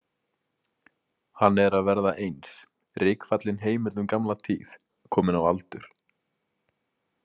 Hann er að verða eins, rykfallin heimild um gamla tíð, kominn á aldur.